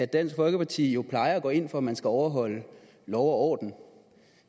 dansk folkeparti plejer at gå ind for at man skal overholde lov og orden og